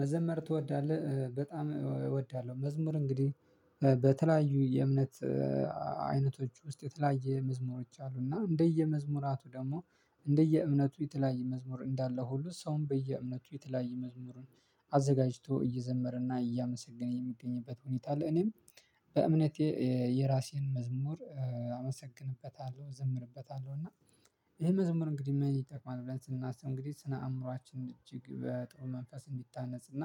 መዘመር ትወዳለህ? በጣም እወዳለሁ። መዝሙር እንግዲህ በተለያዩ የእምነት አይነቶች ውስጥ የተለያየ መዝሙሮች አሉ እና እንደየመዝሙራቱ ደግሞ እንደየእምነቱ የተለያየ መዝሙር እንዳለ ሁሉ ሰውን በየእምነቱ የተለያየ መዝሙርን አዘጋጅቶ እየዘመረና እያመሰገነ የሚገኝበት ሁኔታ አለ። እኔም በእምነቴ የራሴን መዝሙር አመሰግንበታለሁ ዝምርበታለሁ እና። ይሄ መዝሙር እንግዲህ ምን ይጠቅማል? ብለን ስናስብ እንግዲህ ስነ አእምሮአችን እጅግ በጥሩ መንፈስ እንዲታነጽ እና